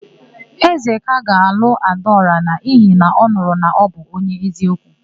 Ezeka ga-alụ Adaọra n'ihi na ọ nụrụ na ọ bụ onye eziokwu.